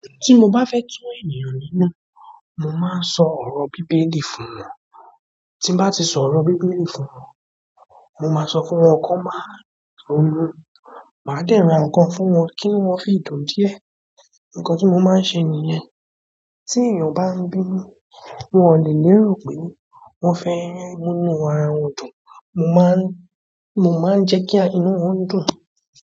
Tí mo bá fẹ́ tú ènìyàn nínú, mo máa ń sọ ọ̀rọ̀ Bíbélì fún wọn. Tí n bá ti sọ ọ̀rọ̀ Bíbélì fún wọn, mo máa sọ fún wọn kọ́ máa ń ronú, màá dẹ́ ra ǹkan fún wọn kí inú wọ́n fi dùn díẹ̀. Nkan ti mo maa n se niyen. Tí ènìyàn bá ń bínú, wọ́n ò lè lérò pé wọ́n fẹ́ rí inú ara wọn dùn. Mo máa ń, mo máa ń jẹ́ kí inú wọn dùn.